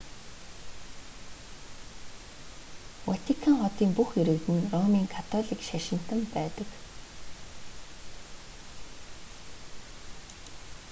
ватикан хотын бүх иргэд нь ромын католик шашинтан байдаг